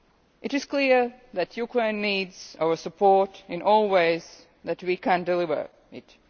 It is clear that Ukraine needs our support in every way that we can deliver it.